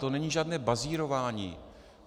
To není žádné bazírování.